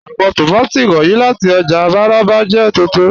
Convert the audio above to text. Àwọn tómátí wọnyí láti ọ́jà Mararaba jẹ́ túntún.